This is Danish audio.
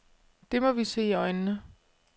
Det må vi se i øjnene.